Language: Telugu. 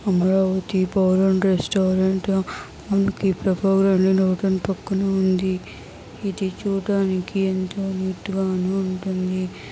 అమరావతి బార్ అండ్ రెస్టారెంట్ మనకు పక్కనే ఉంది ఇది చూడడానికి ఎంతో ముద్దుగాను ఉంటుంది.